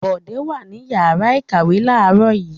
Bọ̀dé wà ní ìyàrá-ìkàwé láàárọ̀ yìí?